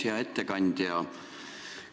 Hea ettekandja!